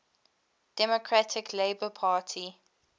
democratic labour party